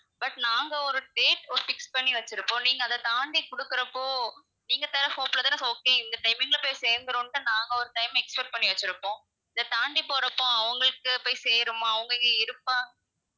but நாங்க ஒரு date fix பண்ணி வச்சுருப்போம், நீங்க அத தாண்டி குடுக்குறப்போ, நீங்க தர hope ல தான okay இந்த timing ல போய் சேந்துடும்னு தான் நாங்க ஒரு time expect பண்ணி வச்சிருப்போம் இதை தாண்டி போறப்போ, அவங்களுக்கு போய் சேருமா, அவங்க அங்க இருப்பா~.